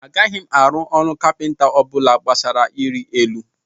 Agaghị m arụ ọrụ kapịnta ọ bụla gbasara iri elu